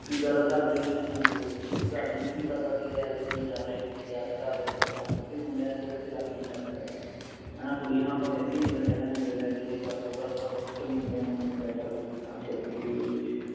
ਕਿ ਗੱਲ ਘਰ ਦੇ ਵੀ ਨਹੀ ਇਨਾ ਬੋਲਦੇ ਸੀ ਗੀ ਕਯੋ ਘਰ ਦੀਆ ਨੂੰ ਇਨਾ ਕਿ ਪਤਾ ਸੀ ਗਾ ਯਾਰ ਕਿ ਕਰ ਰਿਹਾ ਹੈ ਕਿ ਨਹੀਂ ਕਰ ਰਿਹਾ ਘਰ ਦੀਆ ਨੂੰ ਨਹੀ ਪਤਾ ਹੁੰਦਾ ਕਿਉਂਕਿ ਮੁੰਡਿਆਂ ਦੇ ਕਦੇ ਰਾਖੀ ਨਹੀਂ ਰੱਖ ਸਕਦਾ ਹੇਨਾ ਕੁੜੀਆਂ ਨੂੰ ਆਪਾ ਫਿਰ ਵੀ ਕਹਿਦਾਂਗੇ ਕਿ ਅੰਦਰ ਬੇਜੋ ਇਹ ਕਰਲੋ ਉਹ ਕਰਲੋ but ਮੁੰਡਿਆਂ ਨੂੰ ਨਹੀ ਕਹਿ ਸਕਦਾ ਨਾ ਕੁਛ ਨਾ ਛੇਤੀ ਛੇਤੀ ਨਾ ਕੁਛ